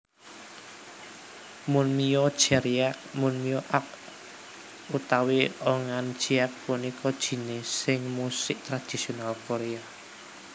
Munmyo Jeryeak Munmyo ak utawi Eungan jiak punika jinising musik tradisional Korea